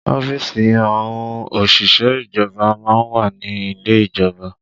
Ọ́fíìsì àwọn òṣìṣẹ́ ìjọba má ń wà ní ilé ìjọba